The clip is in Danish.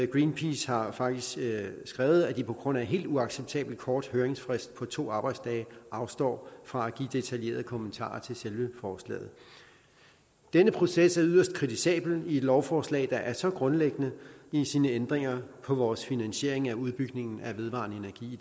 greenpeace har faktisk skrevet at de på grund af en helt uacceptabelt kort høringsfrist på to arbejdsdage afstår fra at give detaljerede kommentarer til selve forslaget denne proces er yderst kritisabel i et lovforslag der er så grundlæggende i sine ændringer af vores finansiering af udbygningen af vedvarende energi i